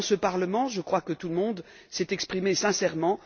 Dans ce Parlement, je crois que tout le monde s'est exprimé sincèrement.